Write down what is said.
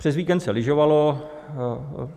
Přes víkend se lyžovalo.